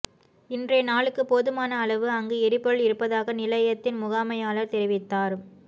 இன்றைய நாளுக்கு போதுமான அளவு அங்கு எரிபொருள் இருப்பதாக நிலையத்தின் முகாமையாளர் தெரிவித்தார்